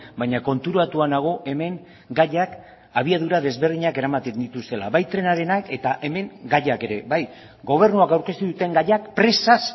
baina konturatua nago hemen gaiak abiadura ezberdinak eramaten dituztenak bai trenarenak eta hemen gaiak ere gobernuak aurkeztu dituen gaiak presaz